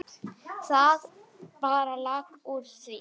Það bara lak úr því.